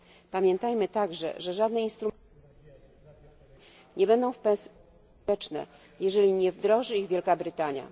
Pamiętajmy także, że żadne instrumenty nie będą w pełni skuteczne, jeżeli nie wdroży ich Wielka Brytania.